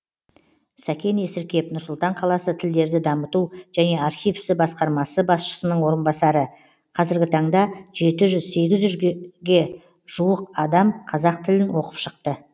сәкен есіркеп нұр сұлтан қаласы тілдерді дамыту және архив ісі басқармасы басшысының орынбасары қазіргі таңда жеті жүз сегіз жүзге жуық адам қазақ тілін оқып шықты